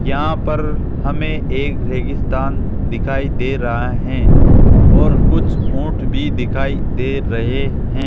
यहां पर हमें एक रेगिस्तान दिखाई दे रहा हैं और कुछ ऊंट भी दिखाई दे रहे हैं।